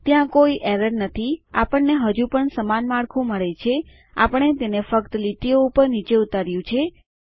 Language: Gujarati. ત્યાં કોઈ એરર નથી આપણને હજુ પણ સમાન માળખું મળે છે આપણે તેને ફક્ત લીટીઓ ઉપર નીચે ઉતાર્યું છે